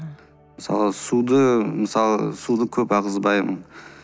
мысалы суды мысалы суды көп ағызбаймын